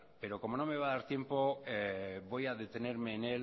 pero como no me va a dar tiempo voy a detenerme en